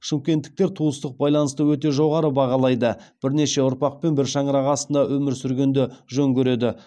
шымкенттіктер туыстық байланысты өте жоғары бағалайды бірнеше ұрпақпен бір шаңырақ астында өмір сүргенді жөн көреді